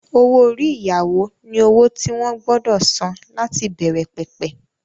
Owó-orí ìyàwó ni owó tí wọ́n gbọdọ̀ san láti ìbẹ̀rẹ̀ pẹ̀pẹ̀